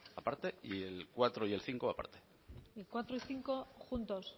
aparte y el cuatro y cinco aparte cuatro y cinco juntos